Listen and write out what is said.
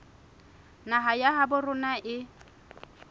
naha ya habo rona e